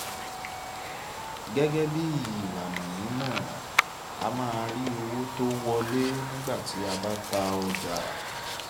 gẹ́gẹ́ bí ìlànà mímọ̀ a máa rí owó tó wọlé nígbà tí a bá ta ọjà.